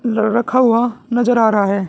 ल रखा हुआ नजर आ रहा है।